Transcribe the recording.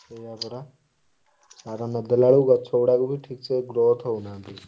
ସେଇଆପରା ସାର ନଦେଲା ବେଳକୁ ଗଛ ଗୁଡାକ growth ହଉନାହାନ୍ତି।